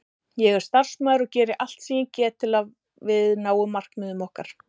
Ég er starfsmaður og geri allt sem ég get til að við náum markmiðum okkar.